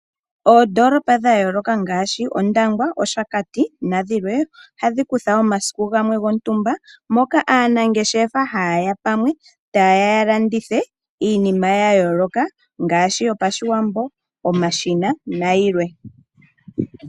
Oondolopa dhayooloka ngaashi Ondangwa, Oshakati nadhilwe ohadhi kutha omasiku gamwe gontumba moka aanangeshefa ha ye ya pamwe taye ya yalandithe iinima ya yooloka ngaashi yopashiwambo , omashina nayilwe.